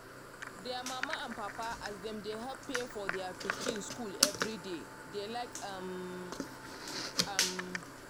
dia mama and papa as dem dey help pay for their pikin school everybody dey like um am.